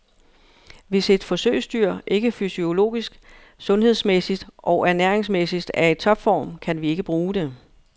Hvis et forsøgsdyr ikke fysiologisk, sundhedsmæssigt og ernæringsmæssigt er i topform, kan vi ikke bruge det.